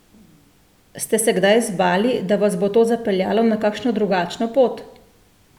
Ste se kdaj zbali, da vas bo to zapeljalo na kakšno drugačno pot?